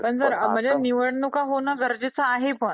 पण म्हणजे निवडणूक होणं गरजेचं आहे